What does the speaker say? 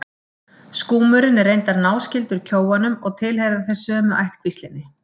Skúmurinn er reyndar náskyldur kjóanum og tilheyra þeir sömu ættkvíslinni.